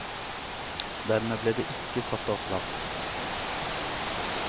Dermed ble det ikke satt av plass.